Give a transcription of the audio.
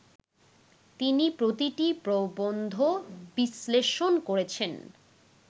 তিনি প্রতিটি প্রবন্ধ বিশ্লেষণ করেছেন